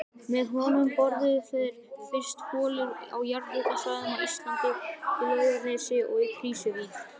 Með honum boruðu þeir fyrstu holur á jarðhitasvæðum á Íslandi, í Laugarnesi og Krýsuvík.